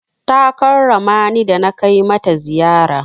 Ta karrama ni da na kai mata ziyara.